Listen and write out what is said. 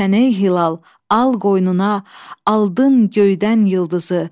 Sən ey hilal, al qoynuna, aldın göydən ulduzu.